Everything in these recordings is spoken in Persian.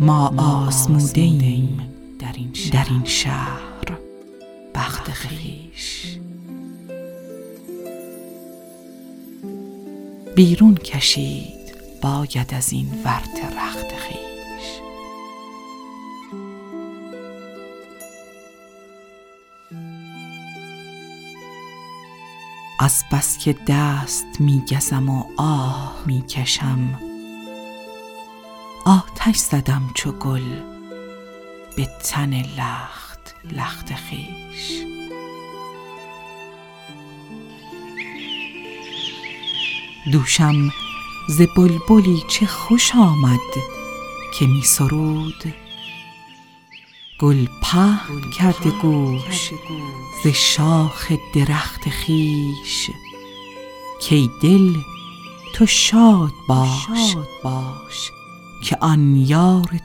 ما آزموده ایم در این شهر بخت خویش بیرون کشید باید از این ورطه رخت خویش از بس که دست می گزم و آه می کشم آتش زدم چو گل به تن لخت لخت خویش دوشم ز بلبلی چه خوش آمد که می سرود گل گوش پهن کرده ز شاخ درخت خویش کای دل تو شاد باش که آن یار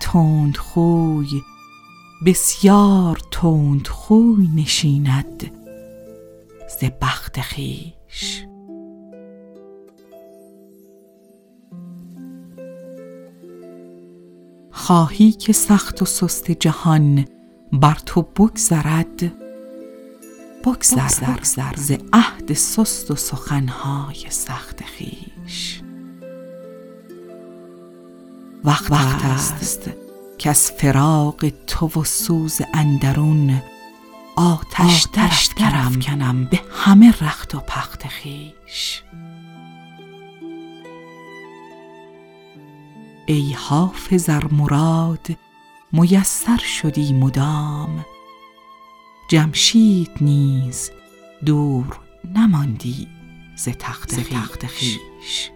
تندخو بسیار تند روی نشیند ز بخت خویش خواهی که سخت و سست جهان بر تو بگذرد بگذر ز عهد سست و سخن های سخت خویش وقت است کز فراق تو وز سوز اندرون آتش درافکنم به همه رخت و پخت خویش ای حافظ ار مراد میسر شدی مدام جمشید نیز دور نماندی ز تخت خویش